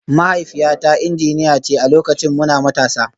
Mahaifiyata injiniya ce a lokacin muna matasa